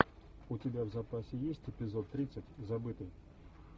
у тебя в запасе есть эпизод тридцать забытый